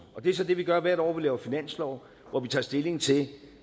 det er så det vi gør hvert år vi laver finanslov hvor vi tager stilling til